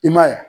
I m'a ye